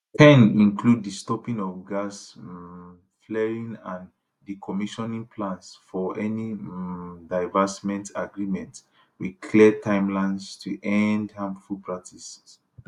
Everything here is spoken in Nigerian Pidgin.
10 include di stopping of gas um flaring and decommissioning plans for any um divestment agreement with clear timelines to end harmful practices